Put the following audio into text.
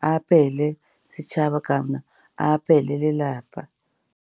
a apele setšhaba kana a apeele lelapa.